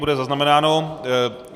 Bude zaznamenáno.